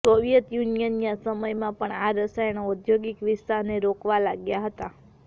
Soviet યુનિયનના સમયમાં પણ આ રસાયણો ઔદ્યોગિક વિસ્તારને રોકવા લાગ્યા હતા